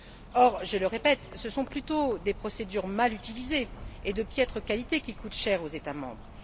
Or, je le répète, ce sont plutôt des procédures mal utilisées et de piètre qualité qui coûtent cher aux États membres.